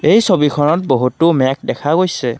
এই ছবিখনত বহুতো মেঘ দেখা গৈছে।